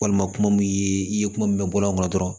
Walima kuma min i ye kuma min mɛn bɔlɔn dɔrɔn